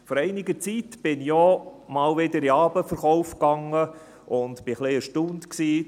Vor einiger Zeit war ich auch wieder einmal am Abendverkauf und war etwas erstaunt: